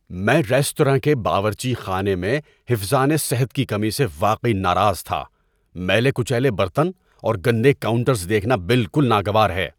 میں ریستوراں کے باورچی خانے میں حفظان صحت کی کمی سے واقعی ناراض تھا۔ میلے کچیلے برتن اور گندے کاؤنٹرز دیکھنا بالکل ناگوار ہے۔